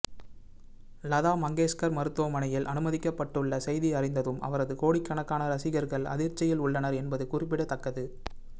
லதா மங்கேஷ்கர் மருத்துவமனையில் அனுமதிக்கப்பட்டுள்ள செய்தி அறிந்ததும் அவரது கோடிக்கணக்கான ரசிகர்கள் அதிர்ச்சியில் உள்ளனர் என்பது குறிப்பிடத்தக்கது